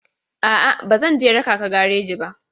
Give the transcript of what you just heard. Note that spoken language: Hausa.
A'a, ba zan raka ka gareji ba.